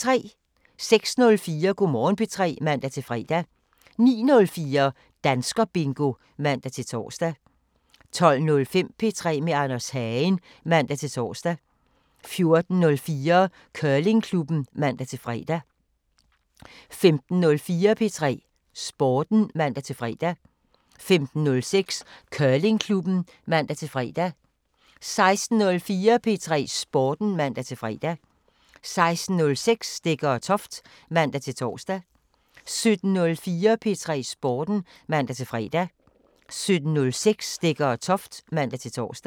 06:04: Go' Morgen P3 (man-fre) 09:04: Danskerbingo (man-tor) 12:05: P3 med Anders Hagen (man-tor) 14:04: Curlingklubben (man-fre) 15:04: P3 Sporten (man-fre) 15:06: Curlingklubben (man-fre) 16:04: P3 Sporten (man-fre) 16:06: Stegger & Toft (man-tor) 17:04: P3 Sporten (man-fre) 17:06: Stegger & Toft (man-tor)